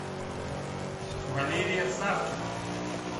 валерия савкина